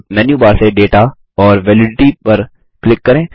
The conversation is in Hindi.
अब मेन्यू बार से दाता और वैलिडिटी पर क्लिक करें